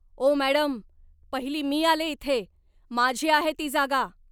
ओ madam, पहिली मी आलेय इथे. माझी आहे ती जागा.